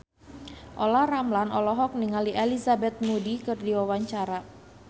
Olla Ramlan olohok ningali Elizabeth Moody keur diwawancara